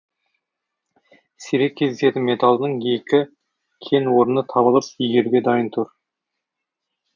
сирек кездесетін металдың екі кен орны табылып игеруге дайын тұр